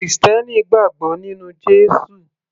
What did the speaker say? krìstẹ́nì gbàgbọ́ nínú Jésù